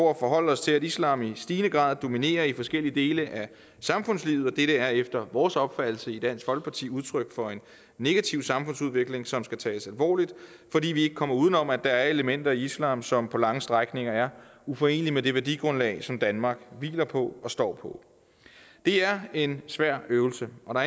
at forholde os til at islam i stigende grad dominerer i forskellige dele af samfundslivet og dette er efter vores opfattelse i dansk folkeparti udtryk for en negativ samfundsudvikling som skal tages alvorligt fordi vi ikke kommer uden om at der er elementer i islam som på lange strækninger er uforenelige med det værdigrundlag som danmark hviler på og står på det er en svær øvelse og